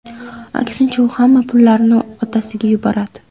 Aksincha, u hamma pullarini otasiga yuboradi.